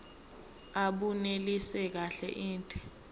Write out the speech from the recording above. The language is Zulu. abunelisi kahle inde